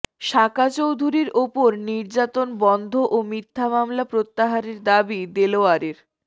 সাকা চৌধুরীর ওপর নির্যাতন বন্ধ ও মিথ্যা মামলা প্রত্যাহারের দাবি দেলোয়ারের